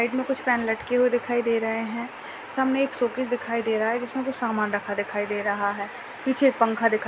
Side मे कुछ fan लटके हुए दिखाई दे रहे है सामने एक शोकेस दिखाई दे रहा हैं जिसमे कुछ सामान रखा दिखाई दे रहा हैं। पीछे एक पंखा दिखाई --